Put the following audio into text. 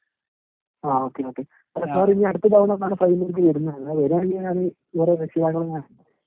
ങാ okay okay. Sir ഇനി അടുത്ത തവണ എന്നാ പയ്യന്നൂര്‍ക്ക് വരുന്നത്. വരുകയാണെങ്കിൽ അവരുടെ രക്ഷിതാക്കളെ ഞാൻ